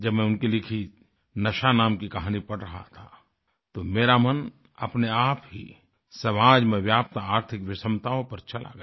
जब मैं उनकी लिखी नशा नाम की कहानी पढ़ रहा था तो मेरा मन अपनेआप ही समाज में व्याप्त आर्थिक विषमताओं पर चला गया